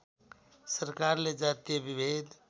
सरकारले जातीय विभेद